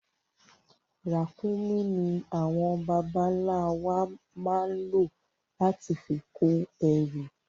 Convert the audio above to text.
Ràkúnmí ní àwọn bàbá ń la wà máa ń lo láti fi kó ẹrù